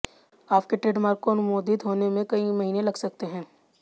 आपके ट्रेडमार्क को अनुमोदित होने में कई महीने लग सकते हैं